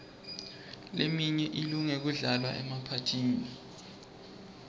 leminye ilunge kudlalwa emaphathini